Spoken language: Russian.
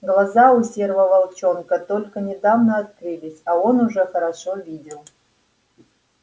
глаза у серого волчонка только недавно открылись а он уже хорошо видел